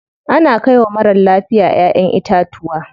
Ana kai wa marar lafiya ƴaʼƴen itatuwa.